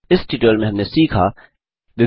इस ट्यूटोरियल में हमने सीखा 1